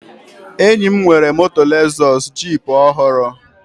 Enyi m nwere moto Lezọs jip ọhụrụ